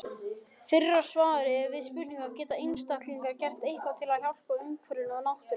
Fyrra svarið er við spurningunni Geta einstaklingar gert eitthvað til að hjálpa umhverfinu og náttúrunni?